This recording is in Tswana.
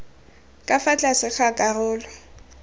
ka fa tlase ga karolo